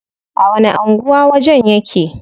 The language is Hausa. A wani anguwa wajen yake?